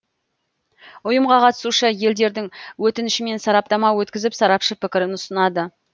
ұйымға қатысушы елдердің өтінішімен сараптама өткізіп сарапшы пікірін ұсынады